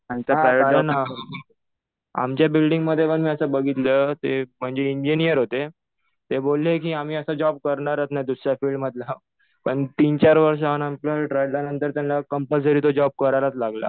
हो. कारण आमच्या बिल्डिंगमध्ये पण मी असं बघितलंय. ते म्हणजे इंजिनिअर होते. ते बोलले कि आम्ही असा जॉब करणारच नाही, दुसऱ्या फिल्ड मधला. पण तीन-चार वर्षानंतर रडल्यानंतर त्यांना कम्पलसरी तो जॉब करायलाच लागला.